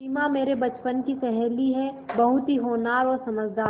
सिमा मेरे बचपन की सहेली है बहुत ही होनहार और समझदार